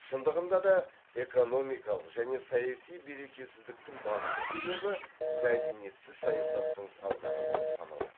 шындығында да экономикалық және саяси берекесіздіктің басты себебі мәдениетсіз саясаттың салдары болып саналады